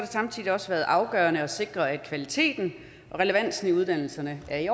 samtidig også været afgørende at sikre at kvaliteten og relevansen i uddannelserne er i